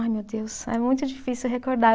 Ai meu Deus, é muito difícil recordar.